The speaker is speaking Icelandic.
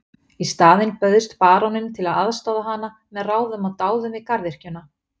Í staðinn bauðst baróninn til að aðstoða hana með ráðum og dáð við garðyrkjuna.